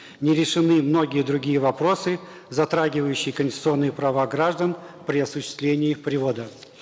не решены многие другие вопросы затрагивающие конституционные права граждан при осуществлении привода